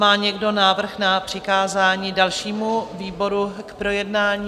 Má někdo návrh na přikázání dalšímu výboru k projednání?